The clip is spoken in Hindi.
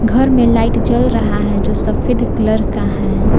घर में लाइट जल रहा है जो सफेद कलर का है।